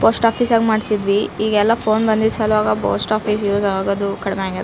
Post office ಯಾಗ ಮಾಡ್ತಿದ್ವಿ ಈಗೆಲ್ಲ ಫೋನ್ ಬಂದಿದ್ದ್ ಸಲ್ವಾಗ ಪೋಸ್ಟ್ ಆಫೀಸ್ ಹೋಗೋದು ಕಡಿಮೆ ಆಗ್ಯಾದ .